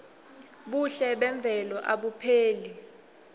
buhle memvelo abupheli